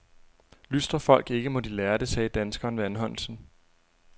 Lystrer folk ikke, må de lære det, sagde danskeren ved anholdelsen.